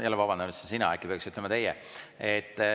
Jälle vabandan, ütlesin "sina", aga äkki peaks ütlema "teie".